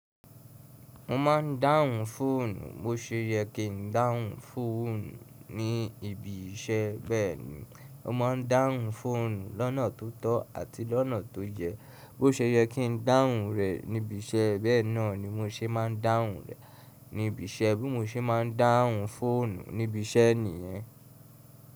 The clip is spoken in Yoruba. Mo ma ń dáhùn fóònù, bó ṣe yẹ kí n dáhùn fóònù ní ibi iṣẹ́ bẹ́ẹ̀ni, mo máa ń dáhùn fóònù lọ́nà tó tọ́ àti lọ́nà tó yẹ. Bó ṣe yẹ kí n dáhùn rẹ̀ níbi iṣẹ́, bẹ́ẹ̀ náà ni mo ṣe máa ń dáhùn rẹ̀ níbi iṣẹ́, bí mo ṣe máa ń dáhùn fóònù níbi iṣẹ́ nìyẹn.